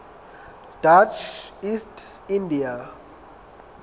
dutch east india